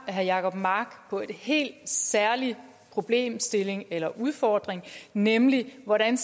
herre jacob mark på en helt særlig problemstilling eller udfordring nemlig hvordan